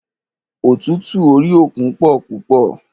Ọ̀tútù orí òkun pọ púpọ̀.